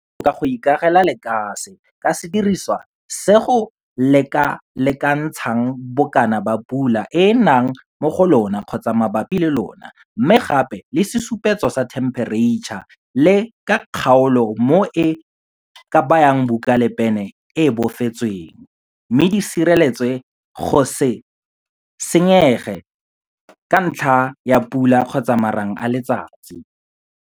Go botoka go ikagela lekase ka sediriswa sa go lekalekantsha bokana ba pula e e nang mo go lona kgotsa mabapi le lona mme gape le sesupetso sa thempereitšha le ka kgaolo mo o ka bayang buka le pene e e bofetsweng, mme di sireletswe go se senyege ka ntlha ya pula kgotsa marang a letsatsi.